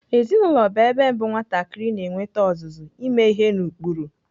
Ezinaụlọ bụ ebe mbụ nwatakịrị na-enwete ọzụzụ ime ihe n'ụkpụrụ.